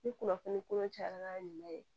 Ni kunnafoni kolon cayara n'a ɲuman ye